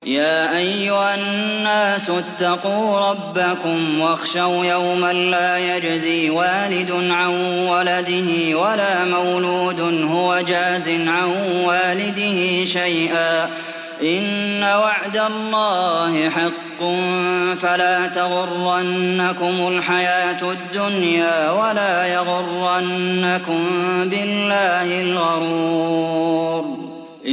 يَا أَيُّهَا النَّاسُ اتَّقُوا رَبَّكُمْ وَاخْشَوْا يَوْمًا لَّا يَجْزِي وَالِدٌ عَن وَلَدِهِ وَلَا مَوْلُودٌ هُوَ جَازٍ عَن وَالِدِهِ شَيْئًا ۚ إِنَّ وَعْدَ اللَّهِ حَقٌّ ۖ فَلَا تَغُرَّنَّكُمُ الْحَيَاةُ الدُّنْيَا وَلَا يَغُرَّنَّكُم بِاللَّهِ الْغَرُورُ